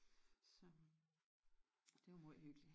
Så det er jo møj hyggeligt